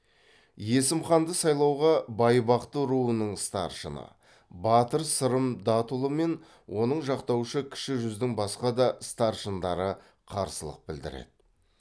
есім ханды сайлауға байбақты руының старшыны батыр сырым датұлы мен оны жақтаушы кіші жүздің басқа да старшындары қарсылық білдіреді